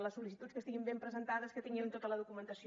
les sol·licituds que estiguin ben presentades que tinguin tota la documentació